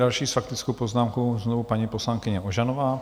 Další s faktickou poznámkou znovu paní poslankyně Ožanová.